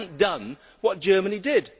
It has not done what Germany did.